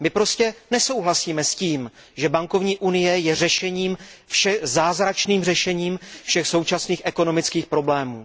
My prostě nesouhlasíme s tím, že bankovní unie je zázračným řešením všech současných ekonomických problémů.